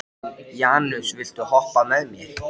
Janus, viltu hoppa með mér?